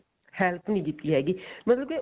help ਨੀ ਕੀਤੀ ਹੈਗੀ ਮਤਲਬ ਕੀ